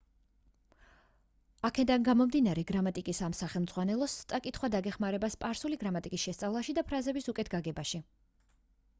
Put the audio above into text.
აქედან გამომდინარე გრამატიკის ამ სახელმძღვანელოს წაკითხვა დაგეხმარება სპარსული გრამატიკის შესწავლაში და ფრაზების უკეთ გაგებაში